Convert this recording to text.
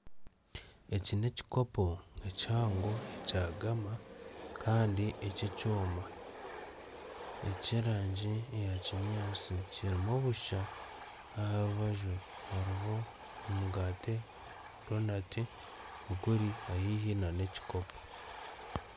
Ekikopo kihango kya Gama Kandi ekyekyoma ekyerangi eyakinyatsi kirimu bussha aha rubaju hariho omugaati Donati biri haihi n'ekikopo